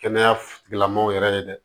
Kɛnɛya tigilamaaw yɛrɛ ye dɛ